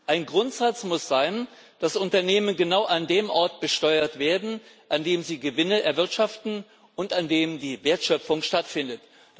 Ein Grundsatz muss sein, dass Unternehmen genau an dem Ort besteuert werden, an dem sie Gewinne erwirtschaften und an dem die Wertschöpfung stattfindet.